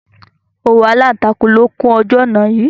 Òwú Aláàtakù ló kún ojú ọ̀ná yìí.